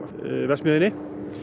verksmiðjunni